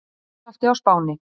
Jarðskjálfti á Spáni